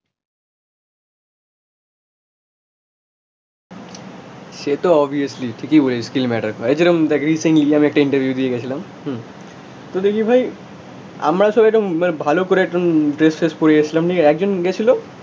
সে তো অবভিয়াসলি ঠিকই বলেছিস স্কিল ম্যাটার করে, এই যেরকম রিসেন্টলি আমি একটা ইন্টারভিউ দিতে গেছিলাম, তো দেখি ভাই আমরা সবাই একদম ভালো করে একদম ড্রেস ফ্রেস করিয়েছিলাম. নিয়ে একজন গেছিল